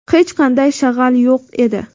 hech qanday shag‘al yo‘q edi.